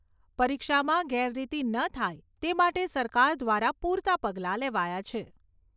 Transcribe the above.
પરીક્ષામાં ગેરરીતી ન થાય તે માટે સરકાર દ્વારા પૂરતાં પગલાં લેવાયાં છે.